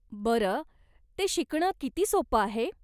बरं, ते शिकणं किती सोपं आहे?